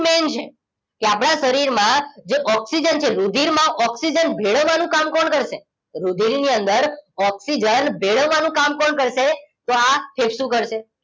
main છે કે આપણા શરીરમાં જે ઓક્સિજન છે રુધિરમાં ઓક્સિજન ભેળવવા નું કામ કોણ કરશે રુધિરની અંદર ઓક્સિજન ભેળવવાનું કામ કોણ કરશે તો આ ફેફસું કરશે